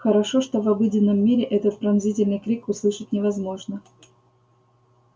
хорошо что в обыденном мире этот пронзительный крик услышать невозможно